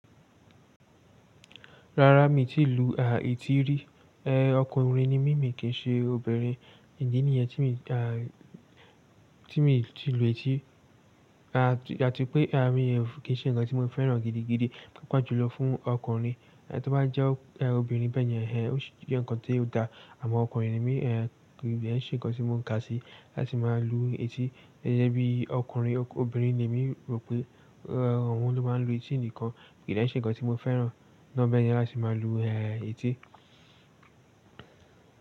Rárá mi ti lu, eti rí. Ọkùnrin ni mí mi kì í ṣe obìnrin. Idi níyẹn tí mi dà, tí mi ti lu etí. Ati pé mi ó, kì í ṣe ǹkan tí mo fẹ́ràn gidigidi, pàápàá jùlọ fún ọkùnrin. Tí ó bá jẹ́ obìnrin bẹ́ẹ̀ni ó sì jẹ́ ǹkan tó da. Àmọ́ ọkùnrin ni mí kì dé ń ṣe ǹkan tí mo kà sí, láti máa lu etí. Gẹ́gẹ́ bí ọkùnrin, obìnrin ni èmi rò pé òun ló máa ń lu etí nìkan. Kì í ṣe ǹkan tí mo fẹ́ràn. Obìnrin a sì máa lu etí.